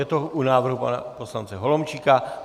Je to u návrhu pana poslance Holomčíka.